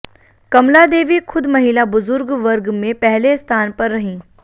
कमलादेवी खुद महिला बुजुर्ग वर्ग में पहले स्थान पर रहीं